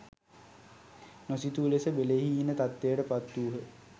නොසිතූ ලෙස බෙලහීන තත්ත්වයට පත් වූහ